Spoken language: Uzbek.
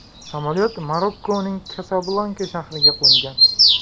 Samolyot Marokkoning Kasablanka shahriga qo‘ngan.